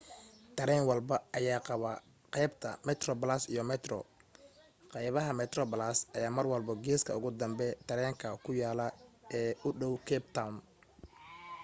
tareen walbo ayaa qabaa qaybta metroplus iyo metro qaybaha metroplus ayaa marwalbo geeska ugu dambe tareenka ku yaalan oo u dhaw cape town